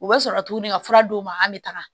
U bɛ sɔrɔ ka tuguni ka fura d'u ma an bɛ taga